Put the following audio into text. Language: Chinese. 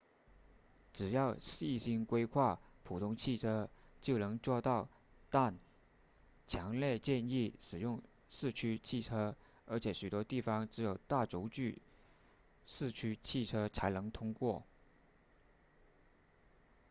只要细心规划普通汽车就能做到但强烈建议使用四驱汽车而且许多地方只有大轴距四驱汽车才能通过